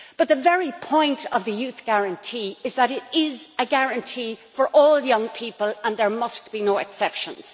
But the very point of the Youth Guarantee is that it is a guarantee for all young people and there must be no exceptions.